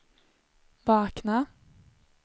vakna